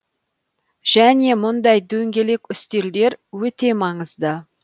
және мұндай дөңгелек үстелдер өте маңызды